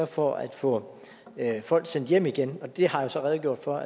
for at få folk sendt hjem igen det har jeg så redegjort for